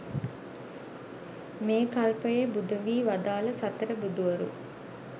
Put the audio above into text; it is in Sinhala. මේ කල්පයේ බුදු වී වදාළ සතර බුදුවරු